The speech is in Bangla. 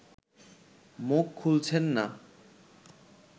মুখ খুলছেন না